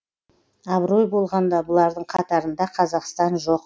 абырой болғанда бұлардың қатарында қазақстан жоқ